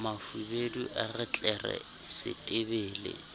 mafubedu a re tlere setebele